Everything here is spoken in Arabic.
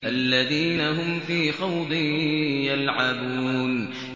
الَّذِينَ هُمْ فِي خَوْضٍ يَلْعَبُونَ